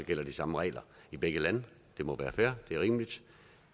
gælder de samme regler i begge lande det må være fair det er rimeligt